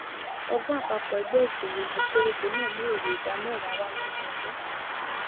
ọgbón àpapò ẹgbé ìsòwò ìlú kéréje náà mú èrè ìdá mèwá wá lódọdún